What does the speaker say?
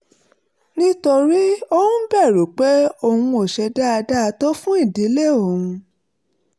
nítorí ó ń bẹ̀rù pé òun ò ṣe dáadáa tó fún ìdílé òun